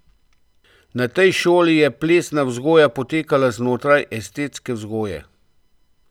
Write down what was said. Na tej šoli je plesna vzgoja potekala znotraj estetske vzgoje.